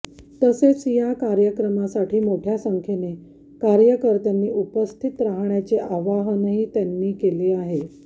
तसेच या कार्यक्रमासाठी मोठ्या संख्येने कार्यकर्त्यांनी उपस्थित राहण्याचे आवाहनही त्यांनी केले आहे